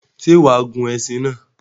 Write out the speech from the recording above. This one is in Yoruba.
Sé wàá gun esin náà?